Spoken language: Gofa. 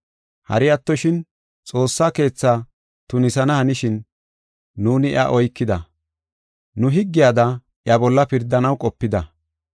Hari attoshin, Xoossa Keetha tunisana hanishin nuuni iya oykida; nu higgiyada iya bolla pirdanaw qopida.